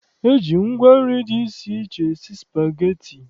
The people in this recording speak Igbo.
E ji ngwa nri dị iche iche esi spageti.